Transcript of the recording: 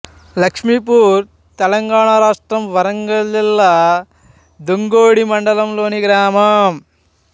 లక్ష్మీపూర్ తెలంగాణ రాష్ట్రం వరంగల్ జిల్లా దుగ్గొండి మండలం లోని గ్రామం